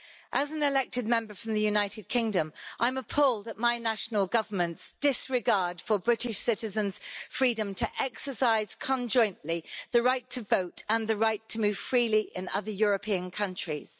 As an elected Member from the United Kingdom, I'm appalled at my national government's disregard for British citizens' freedom to exercise conjointly the right to vote and the right to move freely in other European countries.